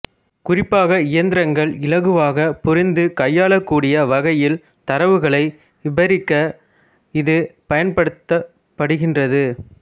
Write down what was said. குறிப்பாக இயந்திரங்கள் இலகுவாகப் புரிந்து கையாளக்கூடிய வகையில் தரவுகளை விபரிக்க இது பயன்படுத்தப்படுகின்றது